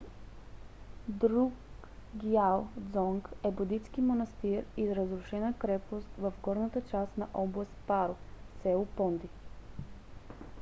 друкгиал дзонг е будистки манастир и разрушена крепост в горната част на област паро с. понди